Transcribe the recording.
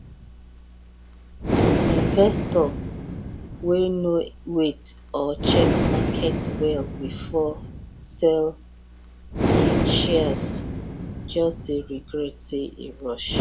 investor wey no wait or check market well before sell him shares just dey regret say e rush